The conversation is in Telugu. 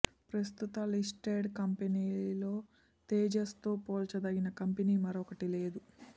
ప్రస్తుత లిస్టెడ్ కంపెనీల్లో తేజాస్ తో పోల్చదగిన కంపెనీ మరొకటి లేదు